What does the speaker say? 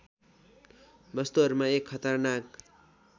वस्तुहरूमा एक खतरनाक